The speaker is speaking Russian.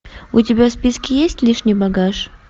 у тебя в списке есть лишний багаж